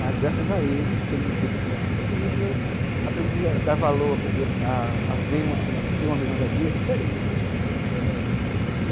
Mas graças a ele ter me feito passar por tudo isso, eu aprendi a dar valor, aprendi a a ver uma uma a ter uma visão da vida diferente, entendeu?